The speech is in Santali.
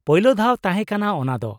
-ᱯᱳᱭᱞᱳᱫᱷᱟᱣ ᱛᱟᱦᱮᱸ ᱠᱟᱱᱟ ᱚᱱᱟᱫᱚ ᱾